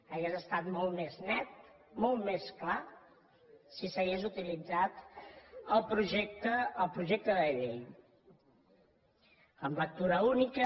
hauria estat molt més net molt més clar si s’hagués utilitzat el projecte de llei en lectura única